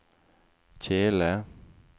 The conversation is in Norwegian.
kjele